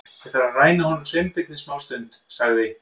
Ég þarf að ræna honum Sveinbirni smástund- sagði